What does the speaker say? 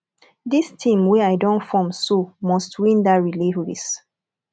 dis team wey i don form so must win dat relay race